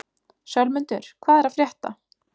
Sölmundur, hvað er að frétta?